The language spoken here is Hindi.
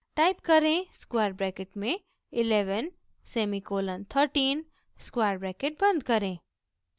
टाइप करें स्क्वायर ब्रैकेट में 11 सेमीकोलन 13 स्क्वायर ब्रैकेट बंद करें